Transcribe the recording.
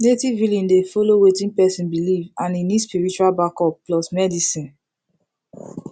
native healing dey follow wetin person believe and e need spiritual backup plus medicine